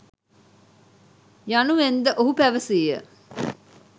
යනුවෙන්ද ඔහු පැවසීය